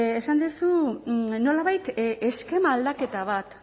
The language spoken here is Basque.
esan duzu nolabait eskema aldaketa bat